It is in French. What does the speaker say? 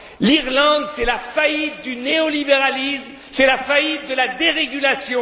L'Irlande, c'est la faillite du néo libéralisme, c'est la faillite de la dérégulation.